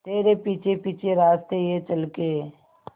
तेरे पीछे पीछे रास्ते ये चल के